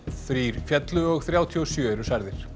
þrír féllu og þrjátíu og sjö eru særðir